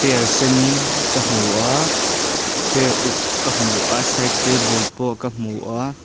er sen ka hmu a chair uk ka hmu a side table pawh ka hmu a.